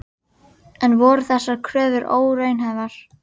En voru þessar kröfur óraunhæfar?